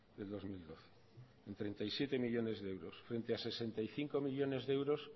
del dos mil doce en treinta y siete millónes de euros frente a sesenta y cinco millónes de euros